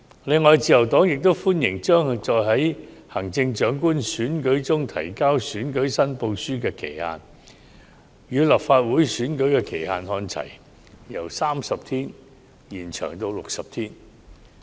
此外，自由黨歡迎將在行政長官選舉中提交選舉申報書的限期，與立法會選舉的限期看齊，由30天延長至60天。